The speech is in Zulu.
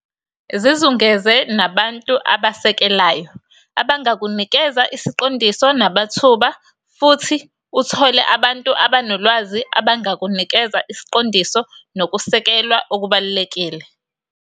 Yisiphi iseluleko ongeluleka ngaso abalimi abasafufusa abalangazelelayo?